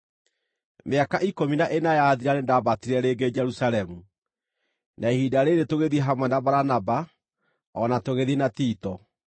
Mĩaka ikũmi na ĩna yathira nĩndambatire rĩngĩ Jerusalemu, na ihinda rĩĩrĩ tũgĩthiĩ hamwe na Baranaba o na tũgĩthiĩ na Tito.